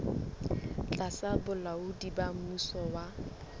tlasa bolaodi ba mmuso wa